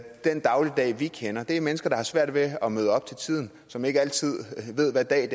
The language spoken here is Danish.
den dagligdag vi kender det er mennesker der har svært ved at møde op til tiden og som ikke altid ved hvad dag i